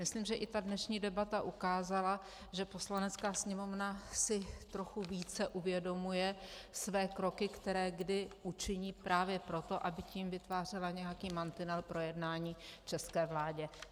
Myslím, že i dnešní debata ukázala, že Poslanecká sněmovna si trochu více uvědomuje své kroky, které kdy učiní právě proto, aby tím vytvářela nějaký mantinel pro jednání české vládě.